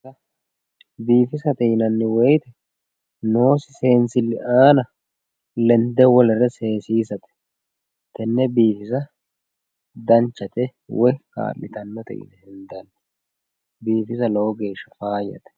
biifisate yinanniwoyite noose senssili ana lende wolere sesisate tenne biifisa danchate woyi ka'litannote biifisa lowo geesha faayate